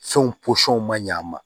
Fɛnw posɔnw man ɲɛ a ma